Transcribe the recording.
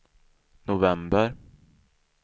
november